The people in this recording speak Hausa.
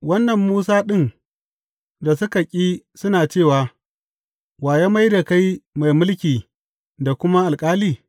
Wannan Musa ɗin da suka ƙi suna cewa, Wa ya mai da kai mai mulki da kuma alƙali?’